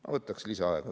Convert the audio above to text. Ma võtaks lisaaega.